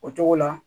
O togo la